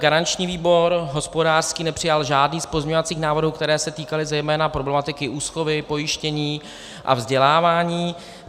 Garanční výbor, hospodářský nepřijal žádný z pozměňovacích návrhů, které se týkaly zejména problematiky úschovy, pojištění a vzdělávání.